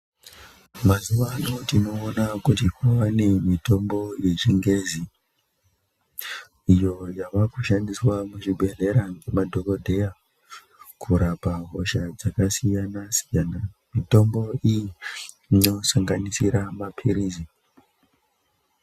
Mazuvano tinoona kuti kwawa nemitambo yechingezi iyo yawakushandiswa muzvibhedhlera nemadhogodheya kurapa hosha dzakasiyana siyana, mitombo iyi inosanganisira mapirizi.